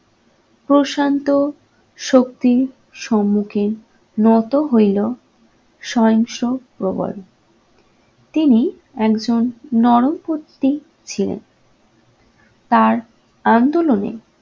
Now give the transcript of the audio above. প্রশান্ত শক্তির সম্মুখে নত হইল সহিংস্র প্রবল। তিনি একজন নরমপন্থী ছিলেন, তার আন্দোলনে